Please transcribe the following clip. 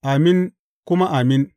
Amin kuma Amin.